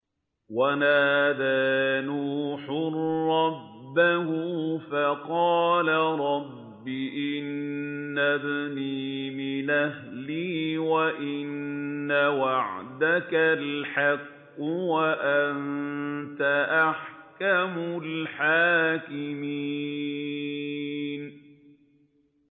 وَنَادَىٰ نُوحٌ رَّبَّهُ فَقَالَ رَبِّ إِنَّ ابْنِي مِنْ أَهْلِي وَإِنَّ وَعْدَكَ الْحَقُّ وَأَنتَ أَحْكَمُ الْحَاكِمِينَ